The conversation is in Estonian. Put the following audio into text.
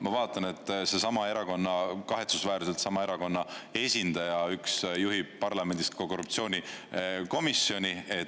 Ma vaatan, et seesama erakonna, kahetsusväärselt sama erakonna esindaja üks juhib parlamendis ka korruptsioonikomisjoni.